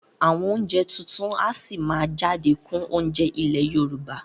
Àwọn oúnjẹ tuntun a sì máa jáde kún oúnjẹ ilé Yorùbá